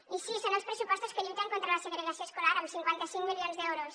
i sí són els pressupostos que lluiten contra la segregació escolar amb cinquanta cinc milions d’euros